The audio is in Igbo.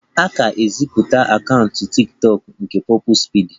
A ka gosipụtara akaụntụ tiktokụ nke Purple speedy